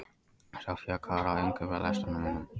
Soffía, hvað er á innkaupalistanum mínum?